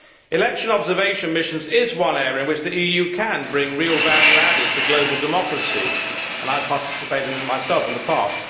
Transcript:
Election observation missions are one area in which the EU can bring real value added to global democracy. I have participated in them myself in the past.